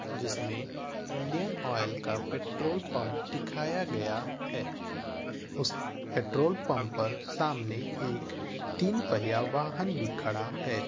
जिसमे Indian oil का petrol pump दिखाया गया है उस पेट्रोल पम्प पर सामने एक तीन पहिया वाहन भी खड़ा है ।